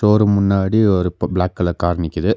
ஒரு முன்னாடி ஒரு ப பிளாக் கலர் கார் நிக்கிது.